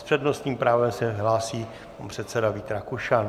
S přednostním právem se hlásí pan předseda Vít Rakušan.